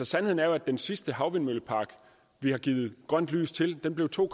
sandheden er jo at den sidste havvindmøllepark vi har givet grønt lys til blev to